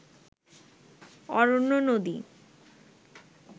অরণ্য, নদী